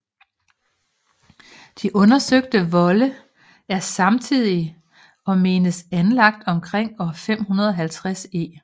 De undersøgte volde er samtidige og menes anlagt omkring år 550 e